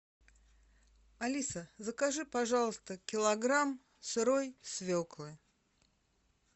алиса закажи пожалуйста килограмм сырой свеклы